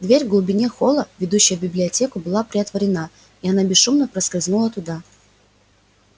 дверь в глубине холла ведущая в библиотеку была приотворена и она бесшумно проскользнула туда